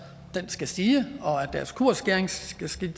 skal stige og at deres kursskæring skal stige